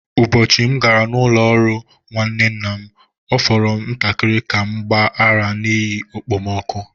Ụbọchị m gara n’ụlọ ọrụ nwanne nna m, ọ fọrọ ntakịrị ka m gbaa ara n’ihi okpomọkụ.